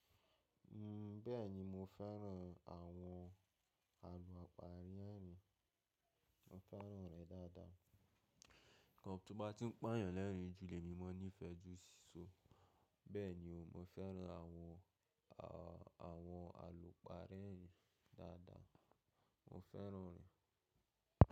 N bẹ́ẹ̀ni mo fẹ́ràn àwọn àlùpàá rẹrin, mo fẹ́ràn rẹ̀ dáadáa. Tí mo bá ti ń pàyàn lẹ́ẹ̀rín jú lè mi mo nífẹẹ jú sí. Bẹ́ẹ̀ni o, mo fẹ́ràn àwọn àwọn àlùpàá rẹ́rin dáadáa. Mo fẹ́ràn rẹ̀.